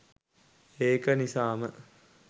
ඒක නිසාම